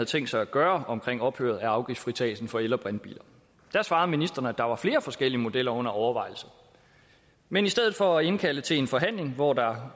tænkt sig gøre ved ophøret af afgiftsfritagelsen for el og brintbiler da svarede ministeren at der var flere forskellige modeller under overvejelse men i stedet for at indkalde til en forhandling hvor der